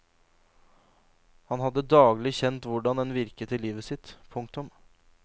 Han hadde daglig kjent hvordan den virket i livet sitt. punktum